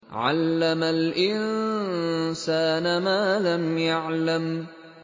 عَلَّمَ الْإِنسَانَ مَا لَمْ يَعْلَمْ